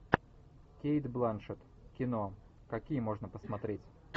кейт бланшетт кино какие можно посмотреть